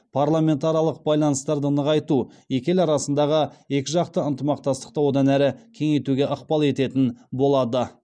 парламентаралық байланыстарды нығайту екі ел арасындағы екіжақты ынтымақтастықты одан әрі кеңейтуге ықпал ететін болады